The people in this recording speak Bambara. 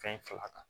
Fɛn fila kan